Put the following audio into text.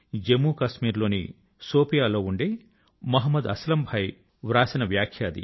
జమ్ము కశ్మీర్ లోని శోపియా లోని మహమ్మద్ అస్లమ్ భాయి వ్రాసిన వ్యాఖ్య అది